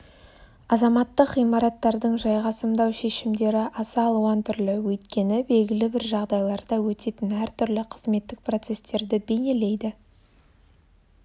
азаматтық ғимараттардың жайғасымдау шешімдері аса алуан түрлі өйткені белгілі бір жағдайларда өтетін әртүрлі қызметтік процестерді бейнелейді